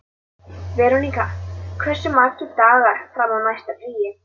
Veronika, hversu margir dagar fram að næsta fríi?